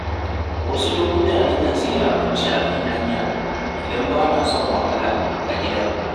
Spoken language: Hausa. Wasu lokuta na kan sayi abinci a kan hanya idan bana son wahala a gida.